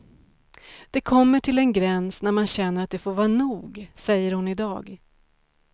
Det kommer till en gräns när man känner att det får vara nog, säger hon i dag.